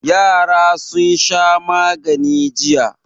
Yara sun sha magani jiya.